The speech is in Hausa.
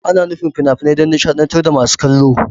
Ana nufin fina-finai don nishadantar da masu kallo.